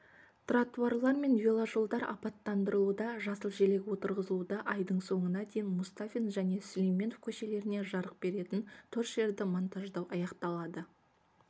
тротуарлар мен веложолдар абаттандырылуда жасыл желек отырғызылуда айдың соңына дейін мұстафин және сүлейменов көшелеріне жарық беретін торшерді монтаждау аяқталады